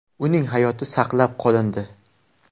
Uning hayoti saqlab qolindi.